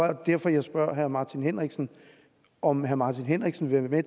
er derfor jeg spørger herre martin henriksen om herre martin henriksen vil være